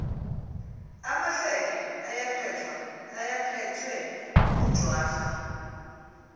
amahleke ayephethwe ngujwarha